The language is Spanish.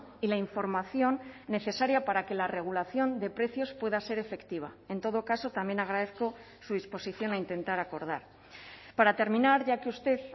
y la información necesaria para que la regulación de precios pueda ser efectiva en todo caso también agradezco su disposición a intentar acordar para terminar ya que usted